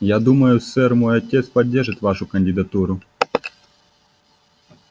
я думаю сэр мой отец поддержит вашу кандидатуру